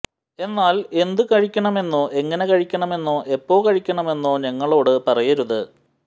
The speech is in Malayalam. എന്നാൽ എന്ത് കഴിക്കണമെന്നോ എങ്ങനെ കഴിക്കണമെന്നോ എപ്പോ കഴിക്കണമെന്നോ ഞങ്ങളോട് പറയരുത്